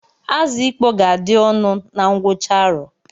Azụ ịkpọ ga-adị ọnụ na ngwụcha arọ